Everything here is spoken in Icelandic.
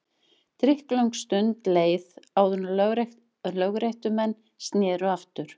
Drykklöng stund leið áður en lögréttumenn sneru aftur.